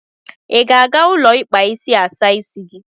I ga-aga ụlọ ikpa isi asa isi gị?